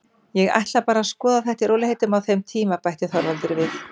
Ég ætla bara að skoða þetta í rólegheitum á þeim tíma, bætti Þorvaldur við.